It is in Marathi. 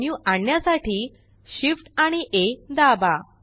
एड मेन्यु आणण्यासाठी Shift आणि आ दाबा